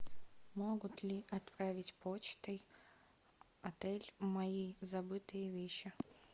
могут ли отправить почтой отель мои забытые вещи